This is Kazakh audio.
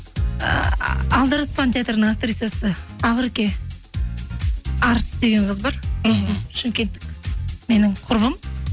ы алдараспан театрының актрисасы акереке арыс деген қыз бар мхм шымкенттік менің құрбым